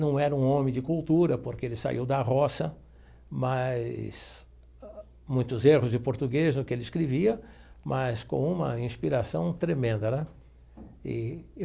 Não era um homem de cultura, porque ele saiu da roça, mas muitos erros de português no que ele escrevia, mas com uma inspiração tremenda né e.